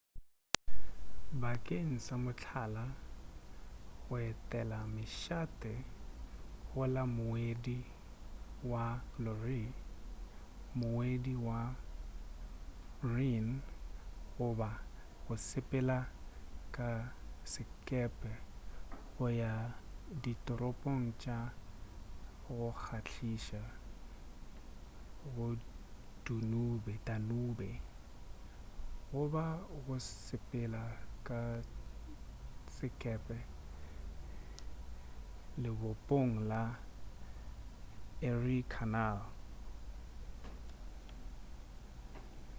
bakeng sa mohlala go etela mešate go la moedi wa loire moedi wa rhine goba go sepela ka sekepe go ya ditoropong tša go kgahliša go danube goba go sepela ka sekepe lebopong la erie canal